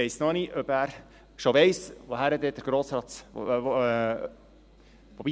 Ich weiss noch nicht, ob er weiss, wohin der Grosse Rat fahren wird.